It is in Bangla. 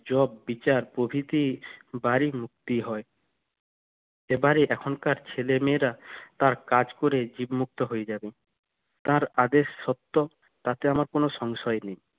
জব বিচার প্রভৃতি ভারি মুক্তি হয় এবারে এখনকার ছেলেমেয়েরা তার কাজ করে মুক্ত হয়ে যাবে তার আদেশ সত্য তাতে আমার কোনো সংশয় নেই